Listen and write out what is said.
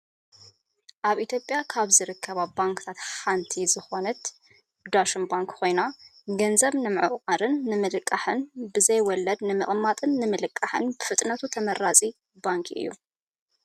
ኣብ ኢትዮጵያ ካብ ዝርከባ ባንክታት ሓንቲ ዝኮነት ዳሽን ባንክ ኮይና ፣ ገንዘብ ንምዑቃርን ንምልቃሕን ብዘይ ወለድ ንምቅማጥን ንምልቃሕን ብፍጥነቱ ተመራፂ ባንኪ እዩ።